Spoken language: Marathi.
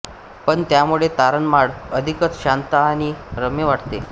पण त्यामुळे तोरणमाळ अधिकच शांत आणि रम्य वाटते